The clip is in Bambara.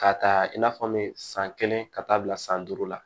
K'a ta i n'a fɔ n bɛ san kelen ka taa bila san duuru la